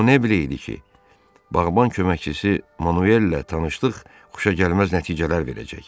O nə biləydi ki, bağban köməkçisi Manuellə tanışlıq xoşagəlməz nəticələr verəcək?